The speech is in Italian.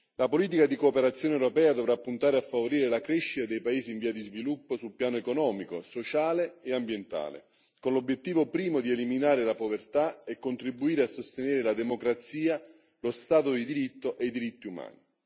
La politica di cooperazione europea dovrà puntare a favorire la crescita dei paesi in via di sviluppo sul piano economico, sociale e ambientale, con l'obiettivo primo di eliminare la povertà e contribuire a sostenere la democrazia, lo Stato di diritto e i diritti umani.